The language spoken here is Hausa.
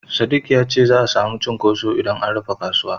Sadik ya ce za'a samu cunkoso idan an rufe kasuwa.